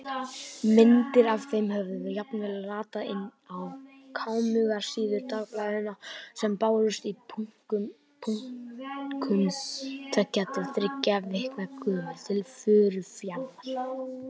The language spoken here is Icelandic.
Myndir af þeim höfðu jafnvel ratað inn á kámugar síður dagblaðanna sem bárust í bunkum, tveggja til þriggja vikna gömul, til Furufjarðar.